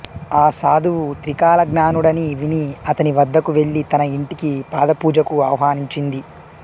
ఆ సాధువు త్రికాలజ్ఞానుడని విని అతనివద్దకు వెళ్ళి తన ఇంటికి పాదపూజకు ఆహ్వానించింది